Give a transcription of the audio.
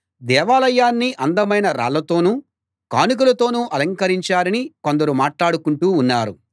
దేవాలయాన్ని అందమైన రాళ్ళతోనూ కానుకలతోనూ అలంకరించారని కొందరు మాట్లాడుకుంటూ ఉన్నారు